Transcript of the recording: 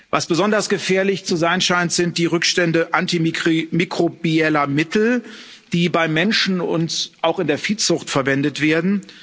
Was besonders gefährlich zu sein scheint, sind die Rückstände antimikrobieller Mittel, die beim Menschen und auch in der Viehzucht verwendet werden